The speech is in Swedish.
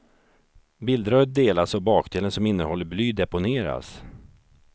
Bildröret delas och bakdelen som innehåller bly deponeras.